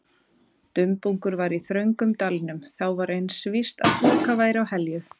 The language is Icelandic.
Dumbungur var í þröngum dalnum, þá var eins víst að þoka væri á Helju.